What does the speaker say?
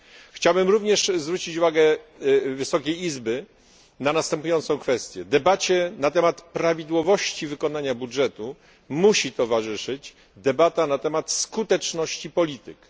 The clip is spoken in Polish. Chciałbym również zwrócić uwagę wysokiej izby na następującą kwestię debacie na temat prawidłowości wykonania budżetu musi towarzyszyć debata na temat skuteczności polityk.